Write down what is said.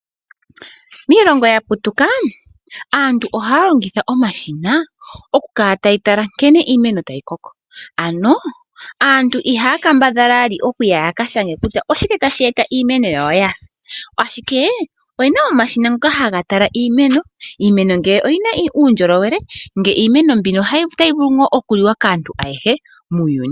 Miilongo ya putuka aantu ohaya longitha omashina okukala taya tala nkene iimeno tayi koko aantu ihaya kambadhala we oku ya yaka shange kutya oshike tashi eta iimeno yawo yasa ashike oyena omashina ngoka haga tala iimeno, iimeno ngele oyina uundjolowele nge iimeno mbino ohayi vulu nga okuliwa kaanyu ayehe muuyuni.